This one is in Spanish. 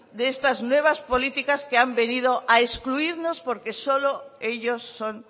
de estas nuevas políticas que han venido a excluirnos porque solo ellos son